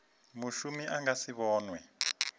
mushumi a nga si vhonwe